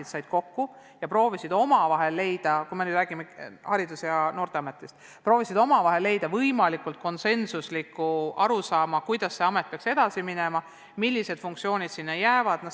Nad said kokku ja proovisid omavahel leida – jutt on Haridus- ja Noorteametist – võimalikult konsensusliku arusaama, kuidas see ühendamet peaks edasi minema, millised funktsioonid sinna jäävad.